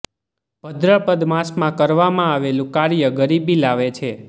ભદ્રપદ માસમાં કરવામાં આવેલું કાર્ય ગરીબી લાવે છે